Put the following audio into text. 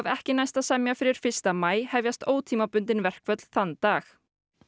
ekki næst að semja fyrir fyrsta maí hefjast ótímabundin verkföll þann dag